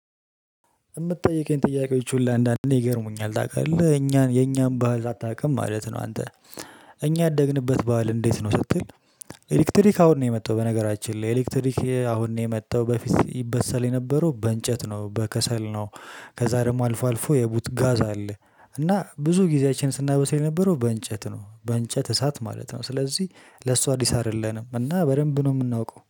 የምትጠይቀኝ ጥያቄዎች ሁላ አንዳንዴ ይገርሙኛል ታውቃለህ እኛን የኛን ባህል አታውቅም ማለት ነው አንተ እኛ ያደግንበት በዓል እንዴት ነው ስትል? ኤሌክትሪክ አሁን ነው የመጣው በነገራችን ላይ ኤሌክትሪክ አሁን ነው የመጣው በፊት ይበሰል የነበረው በእንጨት ነው በከሰል ነው። ከዛ ደግሞ አልፎ አልፎ የቡትጋዝ አለ። እና ብዙ ጊዜያችን ስናበስል የነበረው በእንጨት ነው በእንጨት እሳት ማለት ነው። ስለዚህ ለሱ አዲስ አይደለንም እና በደንብ ነው የምናውቀው